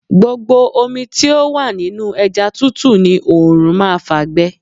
Gbogbo omi tí ò wà nínú ẹja tútù ni oòrùn máa fà gbe.